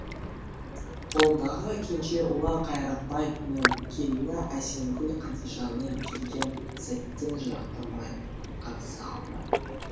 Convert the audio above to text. қолындағы кенже ұлы қайрақбай мен келіні әсемгүл қадишаны келген сәттен жақтырмай қарсы алды